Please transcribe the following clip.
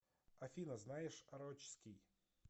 афина знаешь орочский